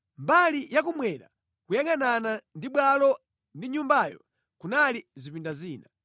Mbali yakummwera kuyangʼanana ndi bwalo ndi nyumbayo kunali zipinda zina.